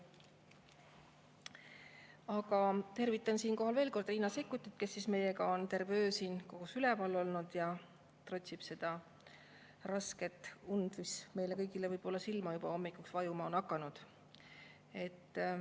Aga tervitan siinkohal veel kord Riina Sikkutit, kes meiega on terve öö siin üleval olnud ja trotsib seda rasket und, mis meile kõigile võib-olla hommikul juba silma on vajuma hakanud.